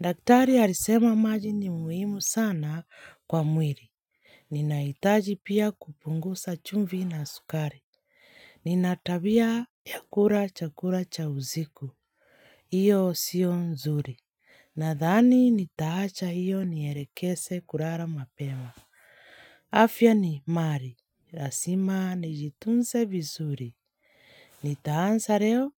Daktari harisema maji ni muhimu sana kwa mwiri. Ninaitaji pia kupungusa chumvi na sukari. Nina tabia ya kura chakura cha uziku. Iyo sio nzuri. Nadhani nitaacha hiyo nierekese kurara mapema. Afya ni mari. Rasima nijitunse visuri. Nitaansa reo